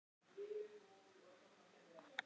Hótuðu þeir einnig árásum.